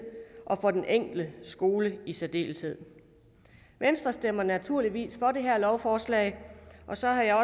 og for den enkelte skole i særdeleshed venstre stemmer naturligvis for det her lovforslag og så har jeg